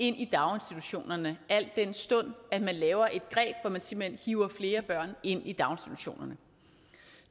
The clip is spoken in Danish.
ind i daginstitutionerne al den stund at man laver et greb hvor man simpelt hen hiver flere børn ind i daginstitutionerne